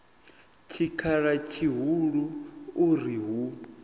tshikhala tshihulu u ri hu